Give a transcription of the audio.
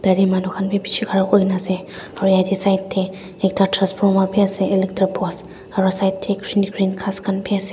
yatae manu khan vi bishi khara kurina ase aru yatae side tae ekta transformer vi ase electric post aru side tae green green ghas khan vi ase.